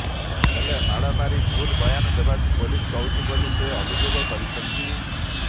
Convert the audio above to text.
ହେଲେ ମାଡ ମାରି ଭୁଲ ବୟାନ ଦେବାକୁ ପୋଲିସ କହୁଛି ବୋଲି ସେ ଅଭିଯୋଗ କରିଛନ୍ତି